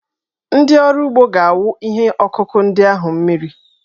Ndị ọrụ ugbo ga-awụ ihe ọkụkụ ndị ahụ mmiri.